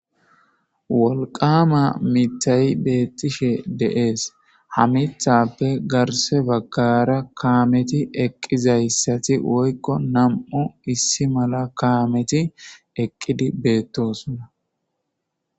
Wolqama mitay beettishe deees ha mithappe garse baggara kaameti eqqizayssati woykko nam7u issi mala kaameti eqqidi beettosuna.